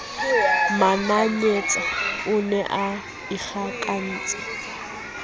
mananyetsa o ne a ikgakantse